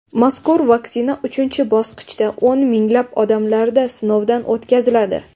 Mazkur vaksina uchinchi bosqichda o‘n minglab odamlarda sinovdan o‘tkaziladi .